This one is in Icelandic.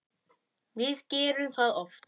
Við gerum það oft.